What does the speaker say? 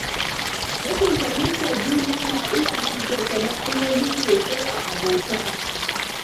Rashin fahimtar juna na iya haddasa matsaloli sosai a abota.